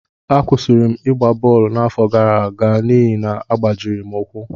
Akwụsịrị m ịgba bọọlụ n’afọ gara aga n’ihi na agbajiri m ụkwụ